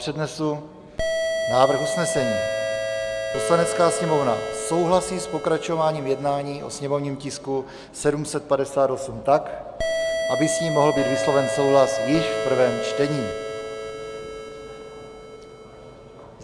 Přednesu návrh usnesení: "Poslanecká sněmovna souhlasí s pokračováním jednání o sněmovním tisku 758 tak, aby s ním mohl být vysloven souhlas již v prvém čtení."